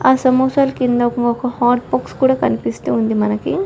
ఆ సమోసాలు కింద ఒక మాకు హాట్ బాక్స్ కూడా కనిపిస్తుంది మనకి.